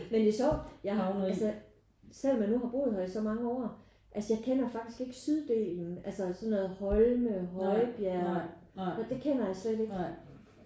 Men det er sjovt altså selvom man nu har boet her i så mange år altså jeg kender faktisk ikke syddelen altså sådan noget Holme Højbjerg det kender jeg slet ikke